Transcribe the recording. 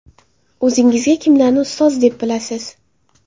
O‘zingizga kimlarni ustoz deb bilasiz?